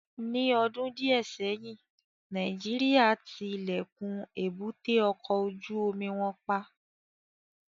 Ni ọdun diẹ sẹyin, Nàìjíríà ti ilẹkun èbúté ọkọ ojú omi wọn pa